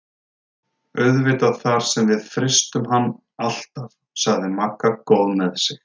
Auðvitað þar sem við frystum hann alltaf sagði Magga góð með sig.